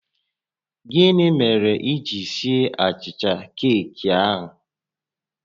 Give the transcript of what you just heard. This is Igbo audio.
Gịnị mere i ji sie achicha keeki a?